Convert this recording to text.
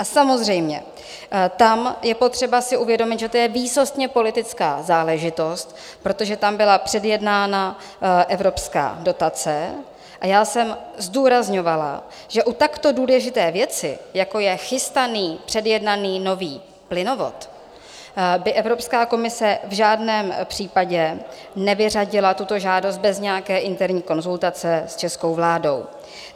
A samozřejmě tam je potřeba si uvědomit, že to je výsostně politická záležitost, protože tam byla předjednána evropská dotace, a já jsem zdůrazňovala, že u takto důležité věci, jako je chystaný předjednaný nový plynovod, by Evropská komise v žádném případě nevyřadila tuto žádost bez nějaké interní konzultace s českou vládou.